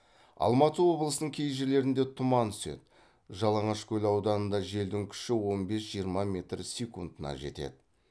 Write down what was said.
алматы облысының кей жерлерінде тұман түседі жаланашкөл ауданында желдің күші он бес жиырма метр секундына жетеді